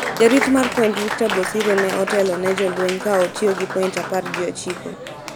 Jarit mar point Victor Bosire ne otelo ne jolweny ka otiyo gi point apar gi ochiko